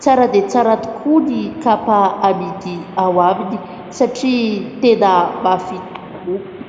Tsara dia tsara tokoa ny kapa amidy ao aminy satria tena mafy tokoa.